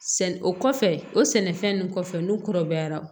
Sɛ o kɔfɛ o sɛnɛfɛn nunnu kɔfɛ n'u kɔrɔbayara